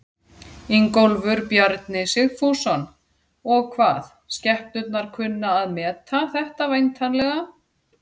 Ingólfur Bjarni Sigfússon: Og hvað, skepnurnar kunna að meta þetta væntanlega?